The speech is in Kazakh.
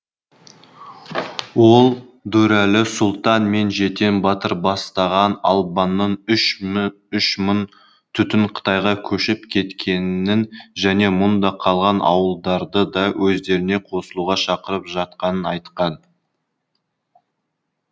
ол дүрәлі сұлтан мен жетен батыр бастаған албанның үщ мың түтіні қытайға көшіп кеткенін және мұнда қалған ауылдарды да өздеріне қосылуға шақырып жатқанын айтқан